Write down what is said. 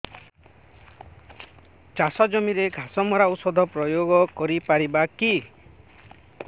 ଚାଷ ଜମିରେ ଘାସ ମରା ଔଷଧ ପ୍ରୟୋଗ କରି ପାରିବା କି